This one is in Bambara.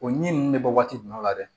O ɲi ninnu bɛ bɔ waati jumɛn la dɛ